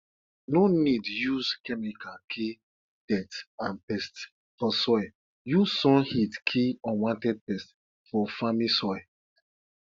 no need use chemical kill dirt and pest for soil use sun heat kill unwanted pest for farming soil